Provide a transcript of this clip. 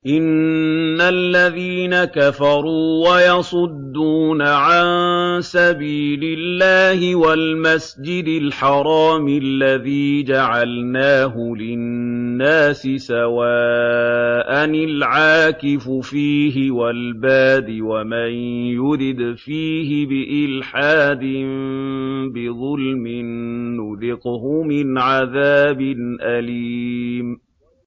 إِنَّ الَّذِينَ كَفَرُوا وَيَصُدُّونَ عَن سَبِيلِ اللَّهِ وَالْمَسْجِدِ الْحَرَامِ الَّذِي جَعَلْنَاهُ لِلنَّاسِ سَوَاءً الْعَاكِفُ فِيهِ وَالْبَادِ ۚ وَمَن يُرِدْ فِيهِ بِإِلْحَادٍ بِظُلْمٍ نُّذِقْهُ مِنْ عَذَابٍ أَلِيمٍ